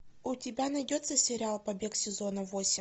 у тебя найдется сериал побег сезона восемь